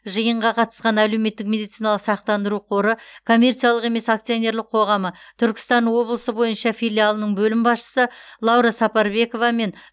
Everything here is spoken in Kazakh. жиынға қатысқан әлеуметтік медициналық сақтандыру қоры коммерциялық емес акционерлық қоғамы түркістан облысы бойынша филиалының бөлім басшысы лаура сапарбекова мен